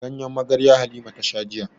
Ganyen magarya Halima ta sha jiya.